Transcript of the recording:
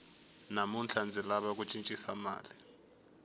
namuntlha ndzi lava ku cincisa mali